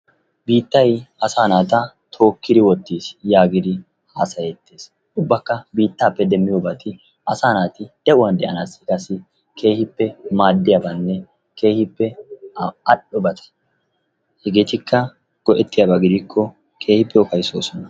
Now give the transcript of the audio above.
Biittaya asaa naata tookkidi wottiis yaagidi haasayettees. Ubbakka biittaappe demmiyobati asaa naati de'uwan de'anaassi keehippe maaddiyabaanne keehippe al"obata. Hegeetikka go'ettiyaba gidikko keehippe ufayssoosona.